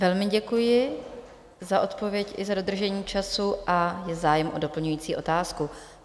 Velmi děkuji za odpověď i za dodržení času a je zájem o doplňující otázku.